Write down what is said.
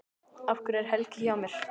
Af hverju er Helgi hjá mér?